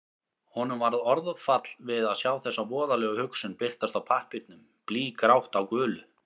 Honum varð orðfall við að sjá þessa voðalegu hugsun birtast á pappírnum, blýgrátt á gulu.